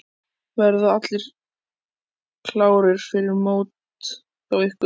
Verða allir klárir fyrir mót hjá ykkur?